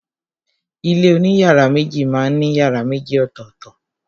Ilé oní yàrá méjì má n ní yàrá méjì ọ̀tọ̀tọ̀.